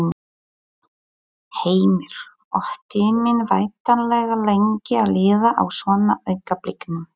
Heimir: Og tíminn væntanlega lengi að líða á svona augnablikum?